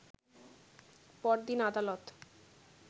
পরদিন আদালত